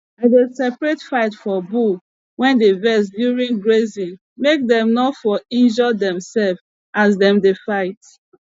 i de separate fight for bulls wey dey vex during grazing make dem nor for injure demselves as dem dey fight